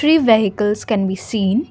three vehicles can be seen.